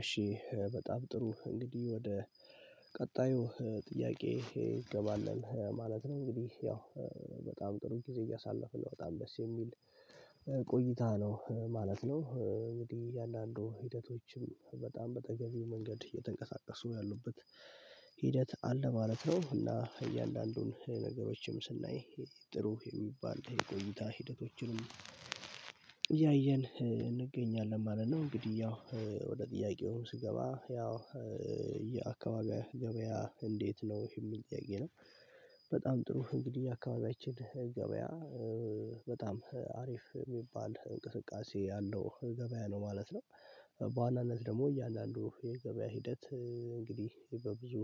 እሺ በጣም ጥሩ እንግዲህ ወደ ቀጣዩ ጥያቄ እገባለን ማለት ነው እንግዲህ ያው በጣም ጥሩ ጊዜ እያሳለፈ ነው በጣም ደስ የሚል ቆይታ ነው ማለት ነው። እንግዲህ እያንዳንዱ ሂደቶችም በጣም በተገቢው መንገድ እየተንቀሳቀሱ ያሉበት ሂደት አለ ማለት ነው። እና እያንዳንዱን ነገሮችም ስናይ ጥሩ የሚባል የቆይታ ሂደቶችንም እያየን እንገኛለን ማለት ነው። እንግዲህ ያው ወደ ጥያቄው ስገባ ያው የ አካባቢያ ገበያ እንዴት ነው የሚል ጥያቄ ነው። በጣም ጥሩ እንግዲህ አካባቢያችን ገበያ በጣም አሪፍ ሚባል እንቅስቃሴ ያለው ገበያ ነው ማለት ነው። በዋናነት ደግሞ እያንዳንዱ የገበያ ሂደት እንግዲህ በብዙ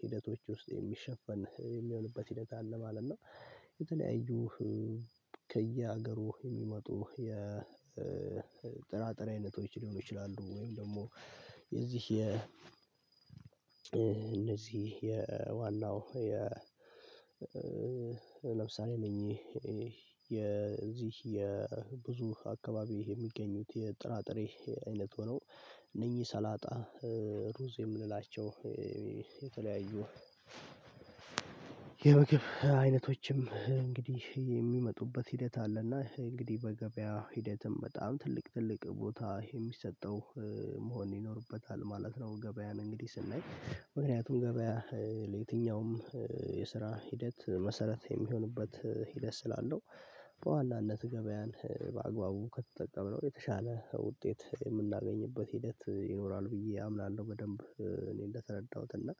ሂደቶች ውስጥ የሚሸፈን የሚሆንበት ሂደት አለ ማለት ነው። የተለያዩ ከየሀገሩ የሚመጡ የጥራጥሬ አይነቶች ሊሆኑ ይችላሉ። ወይም ደግሞ የዚህ የ እነዚህ የዋናው የ ለምሳሌ እነኝ የዚህ የብዙ አካባቢ የሚገኙት የጥራጥሬ አይነት ሆኖ እነኚህ ሰላጣ ሩዝ የምንላቸው የተለያዩ የምግብ አይነቶችም እንግዲህ የሚመጡበት ሂደት አለና እንግዲህ በገበያ ሂደትም በጣም ትልቅ ትልቅ ቦታ የሚሰጠው መሆን ይኖርበታል ማለት ነው። ገበያን እንግዲህ ስናይ ምክንያቱም ገበያ የትኛውም የስራ ሂደት መሰረት የሚሆንበት ሂደት ስላለው በዋናነት ገበያን በአግባቡ ከተጠቀመው የተሻለ ውጤት የምናገኝበት ሂደት ይኖራል ብዬ አምናለሁ። በደንብ እኔ እንደተረዳሁት እና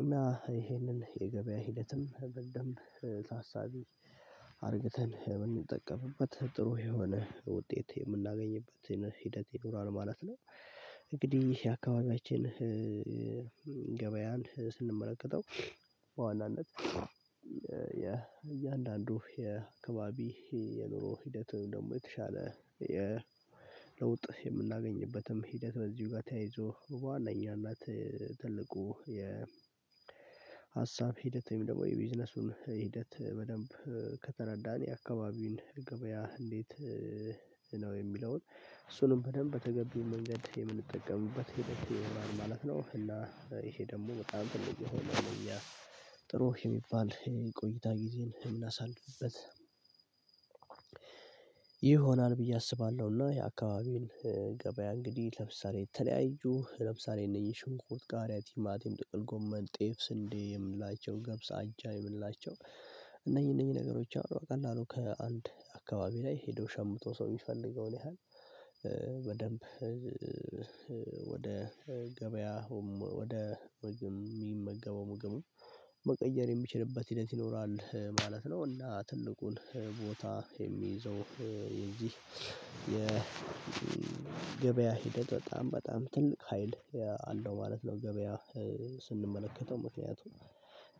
እና ይሄንን የገበያ ሂደትም በደንብ ታሳቢ አድርገተን ብንጠቀምበት ጥሩ የሆነ ውጤት የምናገኝበትን ሂደት ይኖራል ማለት ነው። እንግዲህ የአካባቢያችን ገበያን ስንመለከተው በዋናነት እያንዳንዱ የአካባቢ የኑሮ ሂደት ደግሞ የተሻለ የለውጥ የምናገኝበትም ሂደት በዚሁ ጋር ተያይዞ በዋነኛነት ትልቁ የ ሀሳብ ሂደት ወይም ደግሞ የቢዝነሱን ሂደት በደንብ ከተረዳን የአካባቢውን ገበያ እንዴት ነው የሚለውን እሱንም በደንብ በተገቢው መንገድ የምንጠቀምበት ሂደት ይሆናል ማለት ነው። እና ይሄ ደግሞ በጣም ትልቅ የሆነ ለኛ ጥሩ የሚባል የቆይታ ጊዜን ምናሳልፍበት ይሆናል ብዬ አስባለሁ። እና የአካባቢው ገበያ እንግዲህ ለምሳሌ የተለያዩ ለምሳሌ እነኚህ ሽንኩት ቃርያ ቲማቲም ጥቅል ጎመን ጤፍ ስንዴ የምንላቸውን ገብስ አጃ የምንላቸው እና እነኚህ እነኚህ ነገሮች አሉ። በቀላሉ ከአንድ አካባቢ ላይ ሄዶ ሸምቶ ሰው ሚፈልገውን ያህል በደንብ ወደ ገበያ ወደ ምግብ ሚመገበው ምግቡን መቀየር የሚችልበት ሂደት ይኖራል ማለት ነው። እና ትልቁን ቦታ የሚይዘው የዚህ የገበያ ሂደት በጣም በጣም ትልቅ ሀይል አለው ማለት ነው። ገበያ ስንመለከተው ምክንያቱም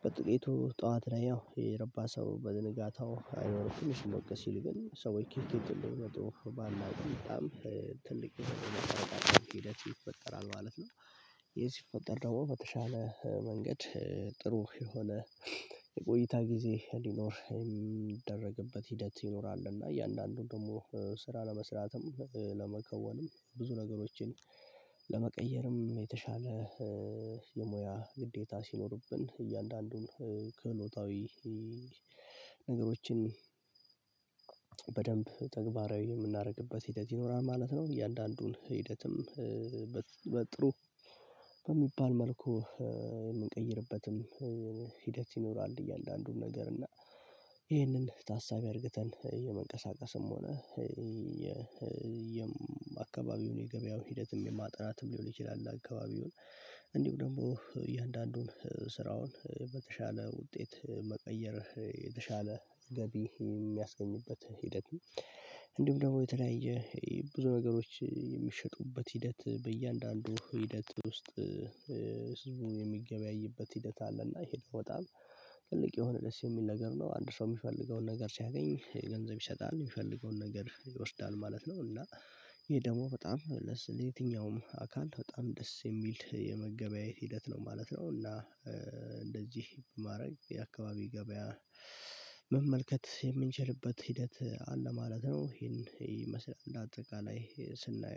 በጥቂቱ ጠዋት ላይ ያው የረባ ሰው በነጋታው አይኖርም ትንሽ ሞቀስ ሲል ግን ሰውዬ ኪኪት እንደሚመጡ ባላውቅም በጣም ሂደት ይፈጠራል ማለት ነው። ይሄ ሲፈጠር ደግሞ በተሻለ መንገድ ጥሩ የሆነ የቆይታ ጊዜ ሊኖር የሚደረግበት ሂደት ይኖራል እና እያንዳንዱን ደግሞ ስራ ለመስራትም ለመከወንም ብዙ ነገሮችን ለመቀየርም የተሻለ ግዴታ ሲኖርብን እያንዳንዱን ክህሎታዊ ነገሮችን በደንብ ተግባራዊ የምናደርግበት ሂደት ይኖራል ማለት ነው። እያንዳንዱን ሂደትም በጥሩ በሚባል መልኩ የምንቀይርበትም ሂደት ይኖራል። እያንዳንዱን ነገር እና ይሄንን ታሳቢ አድርገተን የመንቀሳቀስም ሆነ የ የአካባቢውን የገበያውን ሂደትም የማጠናትም ሊሆን ይችላል። አካባቢውን እንዲሁ ደግሞ የአንዳንዱን ስራውን በተሻለ ውጤት መቀየር የተሻለ ገቢ የሚያስገኝበትን ሂደት እንዲሁም ደግሞ የተለያየ ብዙ ነገሮች የሚሸጡበት ሂደት በእያንዳንዱ ሂደት ውስጥ ህዝቡ የሚገበያይበት ሂደት አለ። እና ይሄ ደሞ በጣም ትልቅ የሆነ ደስ የሚል ነገር ነው አንድ ሰው ሚፈልገውን ነገር ሲያገኝ ገንዘብ ይሰጣል ሚፈልገውን ነገር ይወስዳል ማለት ነው። እና ይሄ ደግሞ በጣም ለየትኛውም አካል በጣም ደስ የሚል የመገበያየት ሂደት ነው ማለት ነው። እና እንደዚህ ማረግ የአካባቢ ገበያ መመልከት የምንችልበት ሂደት አለ ማለት ነው። ይሄን ይመስላል እንደ አጠቃላይ ስናየው